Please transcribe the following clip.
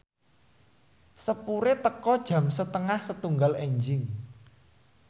sepure teka jam setengah setunggal enjing